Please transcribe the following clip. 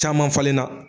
Caman falen na